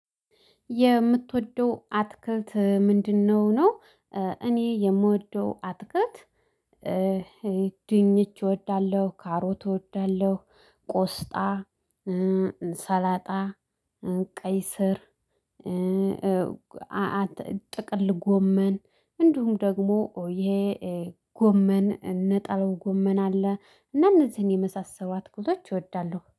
የምትወደው አትክልት ምንድነው ነው? እኔ የምወደው አትክልት። ድንች እወዳለሁ ካሮት እወዳለሁ ቆስጣ ሰላጣ ቀይ ስር። ጥቅል ጎመን እንዲሁም ደግሞ ይሄ ጎመን እነ ጣልው ጎመን አለ። እና እነዚህን የመሳሰባት ቁሎች እወዳለሁ